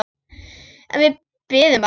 En við biðum bara.